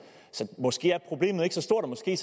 så måske er problemet ikke så stort og måske